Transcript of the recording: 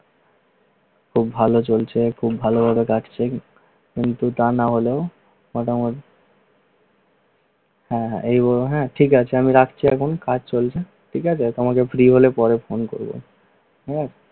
খুব ভালো চলছে খুব ভালোভাবে কাজ করো কিন্তু তা নাহলে আহ এই হলো হ্যা ঠিক আছে আমি রাখছি এখন কাজ চলছে ঠিক আছে তোমাদের বিয়ে হলে পরে ফোন দিবো হ্যা